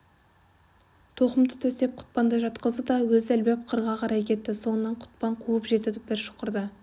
тоқымды төсеп құтпанды жатқызды да өзі ілбіп қырға қарай кетті соңынан құтпан қуып жетті бір шұқырда